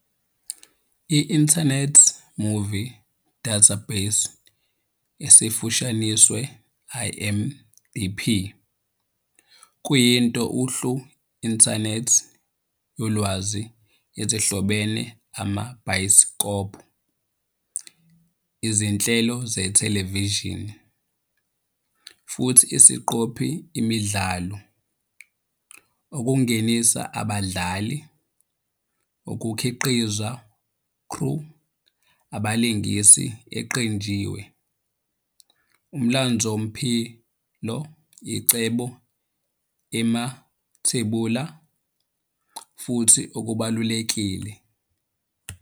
I-Internet Movie Database, esifushanisiwe IMDb, kuyinto uhlu inthanethi yolwazi ezihlobene amabhayisikobho, izinhlelo zethelevishini, futhi isiqophi imidlalo, ukungenisa abadlali, ukukhiqizwa crew, balingisi eqanjiwe, Umlandvomphilo, icebo emathebula, futhi okubalulekile.